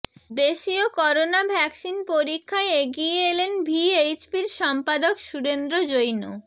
দেশীয় corona vaccine পরীক্ষায় এগিয়ে এলেন ভিএইচপির সম্পাদক সুরেন্দ্র জৈন